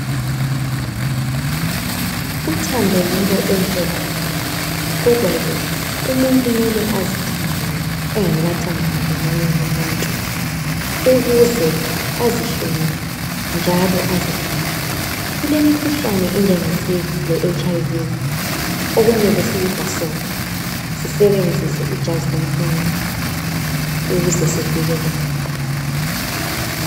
Uthando yinto enhle kakhulu. Kodwa ke umuntu mele azithande yena engakathandani lomunye umuntu ukuze azihloniphe, njalo azigcine. Kulemikhuhlane enjenge siki leHIV okumele siyibhasope sisebenzise ijazi lomkhwenyana ukuze sivikeleke.